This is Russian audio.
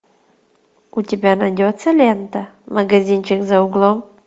у тебя найдется лента магазинчик за углом